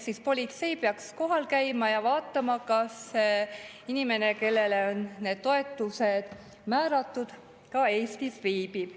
Seega politsei peaks kohal käima ja vaatama, kas inimene, kellele on need toetused määratud, ikka Eestis viibib.